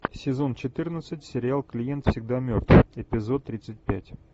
сезон четырнадцать сериал клиент всегда мертв эпизод тридцать пять